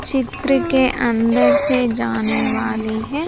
चित्र के अंदर से जाने वाली है।